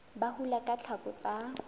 ba hula ka tlhako tsa